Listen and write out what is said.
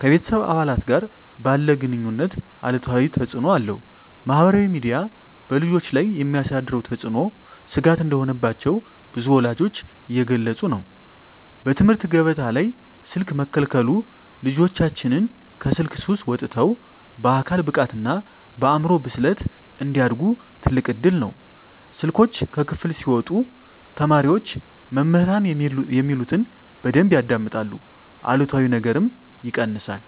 ከቤተሰብ አባላት ጋር ባለ ግኑኝነት አሉታዊ ተፅእኖ አለው። -ማኅበራዊ ሚዲያ በልጆች ላይ የሚያሳድረው ተጽዕኖ ስጋት እንደሆነባቸው ብዙ ወላጆች እየገለጹ ነው። -በትምህርት ገበታ ላይ ስልክ መከልከሉ ልጆቻችን ከስልክ ሱስ ወጥተው በአካል ብቃትና በአእምሮ ብስለት እንዲያድጉ ትልቅ እድል ነው። ስልኮች ከክፍል ሲወጡ ተማሪዎች መምህራን የሚሉትን በደንብ ያዳምጣሉ አሉታዊ ነገርም ይቀንሳል።